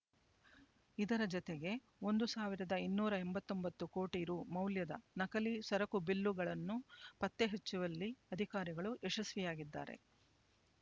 ಇದರ ಜತೆಗೆ ಒಂದು ಸಾವಿರದ ಇನ್ನೂರ ಎಂಬತ್ತೊಂಬತ್ತು ಕೋಟಿ ರೂ ಮೌಲ್ಯದ ನಕಲಿ ಸರಕು ಬಿಲ್‌ಗಳನ್ನು ಪತ್ತೆ ಹಚ್ಚವಲ್ಲಿ ಅಧಿಕಾರಿಗಳು ಯಶಸ್ವಿಯಾಗಿದ್ದಾರೆ